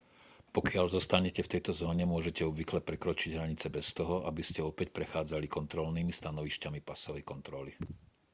pokiaľ zostanete v tejto zóne môžete obvykle prekročiť hranice bez toho aby ste opäť prechádzali kontrolnými stanovišťami pasovej kontroly